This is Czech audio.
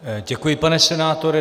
Děkuji, pane senátore.